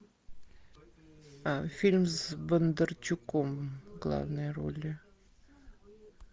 фильм с бондарчуком в главной роли